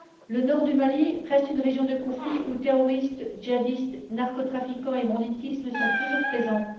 Le nord du Mali reste une région de conflit où terroristes, djihadistes, narcotrafiquants et banditisme sont toujours présents.